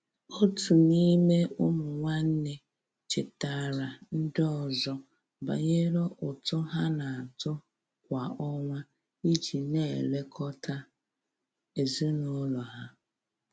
Otu n'ime ụmụ nwanne chetaara ndị ọzọ banyere ụtụ ha na-atụ kwa ọnwa iji na-elekọta ezinụlọ ha.